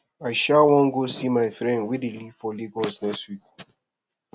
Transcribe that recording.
i um wan go see my friend wey dey live for lagos next week